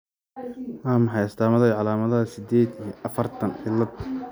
Waa maxay astamaha iyo calaamadaha sided iyi afartan, XXYY cilad?